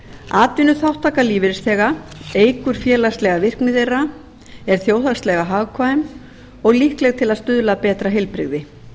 atvinnuþátttaka lífeyrisþega eykur félagslega virkni þeirra er þjóðhagslega hagkvæm og líkleg til að stuðla að betra heilbrigði